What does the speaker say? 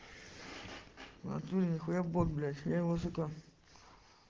в натуре нихуя бот блять я его сука